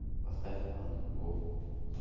поставь ан го